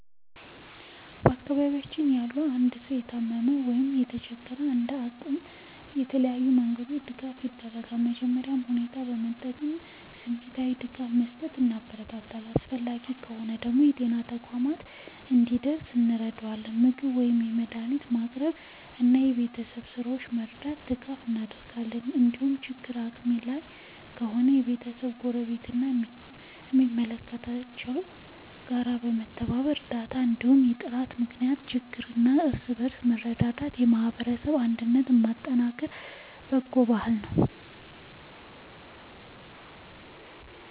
በአካባቢያችን ያለ አንድ ሰው ከታመመ ወይም ከተቸገረ፣ እንደ አቅሜ በተለያዩ መንገዶች ድጋፍ አደርጋለሁ። መጀመሪያ ሁኔታውን በመጠየቅ እና ስሜታዊ ድጋፍ በመስጠት አበረታታዋለሁ። አስፈላጊ ከሆነ ወደ ጤና ተቋም እንዲደርስ እረዳለሁ፣ ምግብ ወይም መድኃኒት በማቅረብ እና የቤት ሥራዎቹን በመርዳት ድጋፍ አደርጋለሁ። እንዲሁም ችግሩ ከአቅሜ በላይ ከሆነ ከቤተሰቦቹ፣ ከጎረቤቶች ወይም ከሚመለከታቸው ተቋማት ጋር በመተባበር እርዳታ እንዲያገኝ እጥራለሁ። ምክንያቱም በችግር ጊዜ እርስ በርስ መረዳዳት የማህበረሰብ አንድነትን የሚያጠናክር በጎ ባህል ነው።